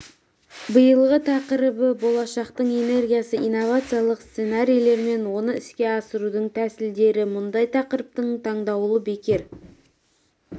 биылғы тақырыбы болашақтың энергиясы инновациялық сценарийлер мен оны іске асырудың тсілдері мұндай тақырыптың таңдалуы бекер